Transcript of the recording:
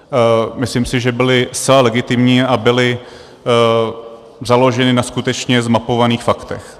Myslím si, že byly zcela legitimní a byly založeny na skutečně zmapovaných faktech.